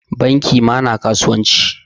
Banki ma na kasuwanci.